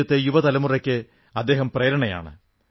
രാജ്യത്തെ യുവതലമുറയ്ക്ക് അദ്ദേഹം പ്രേരണയാണ്